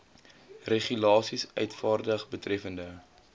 regulasies uitvaardig betreffende